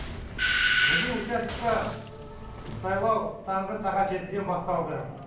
біздің участокта сайлау таңғы сағат жетіден басталды